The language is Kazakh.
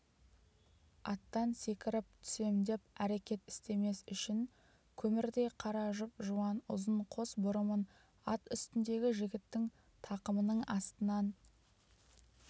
аттан секіріп түсем деп әрекет істемес үшін көмірдей қара жұп-жуан ұзын қос бұрымын ат үстіндегі жігіттің тақымының астынан